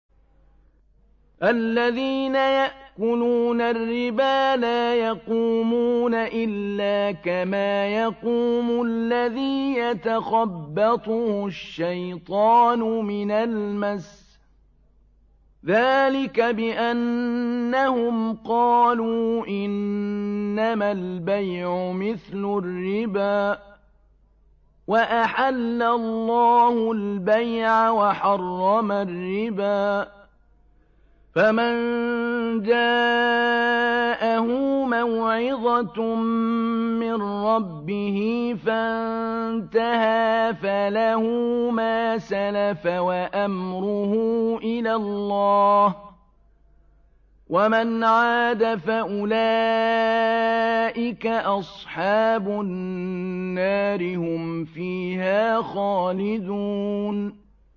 الَّذِينَ يَأْكُلُونَ الرِّبَا لَا يَقُومُونَ إِلَّا كَمَا يَقُومُ الَّذِي يَتَخَبَّطُهُ الشَّيْطَانُ مِنَ الْمَسِّ ۚ ذَٰلِكَ بِأَنَّهُمْ قَالُوا إِنَّمَا الْبَيْعُ مِثْلُ الرِّبَا ۗ وَأَحَلَّ اللَّهُ الْبَيْعَ وَحَرَّمَ الرِّبَا ۚ فَمَن جَاءَهُ مَوْعِظَةٌ مِّن رَّبِّهِ فَانتَهَىٰ فَلَهُ مَا سَلَفَ وَأَمْرُهُ إِلَى اللَّهِ ۖ وَمَنْ عَادَ فَأُولَٰئِكَ أَصْحَابُ النَّارِ ۖ هُمْ فِيهَا خَالِدُونَ